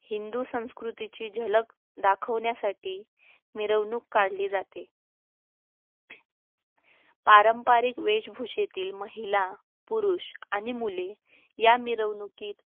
हिंदू संस्कृतीची झलक दाखवण्यासाठी मिरवणूक काढली जाते पारंपारिक वेशभूषेतील महिला पुरुष आणि मुले या मिरवणुकीत